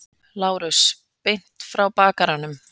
LÁRUS: Beint frá bakaranum.